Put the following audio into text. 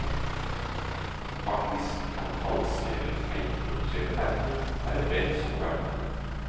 Faktisk kan falske eller feilproduserte merker være vel så verdifulle.